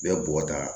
N bɛ bɔgɔ ta